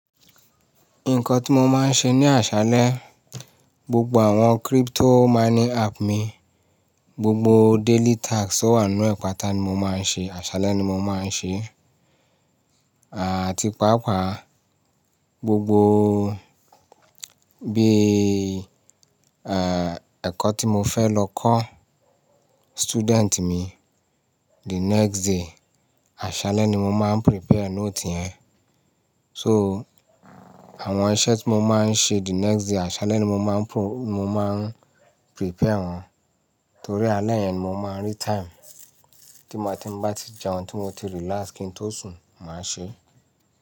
Nǹkan tí mo máa ń ṣe ní àṣálẹ́, gbogbo àwọn crypto mining app mi, gbogbo daily tasks tó wà nínú ẹ̀ pátá ni mo máa ń ṣe, àṣálẹ́ ni mo máa ń ṣe. Àti pàápàá gbogbo bí ẹ̀kọ́ tí mo fẹ́ lọ kọ́ student mi the next day, àṣálẹ́ ni mo máa ń prepare note yẹn. So àwọn iṣẹ́ tí mo máa ń ṣe the next day àṣálẹ́ ni mo máa ń pro-- mo máa ń prepare wọ́n. Torí alẹ́ yẹn ni mo máa ń rí time. Tí ma, tí n bá ti jẹun, tí mo ti relax kí n tó sùn, màá ṣe é.